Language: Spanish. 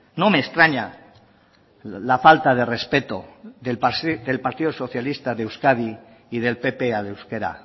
no me extraña la falta de respeto del partido socialista de euskadi y del pp al euskera